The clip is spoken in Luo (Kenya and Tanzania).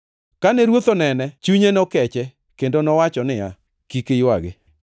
Kane Ruoth onene, chunye nokeche kendo nowacho niya, “Kik iywagi.”